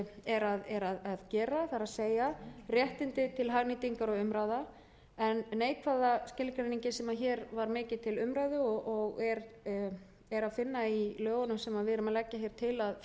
er að gera það er réttindi til hagnýtingar og umráða en neikvæða skilgreiningin sem hér var mikið til umræðu og er að finna í lögunum sem við erum að leggja til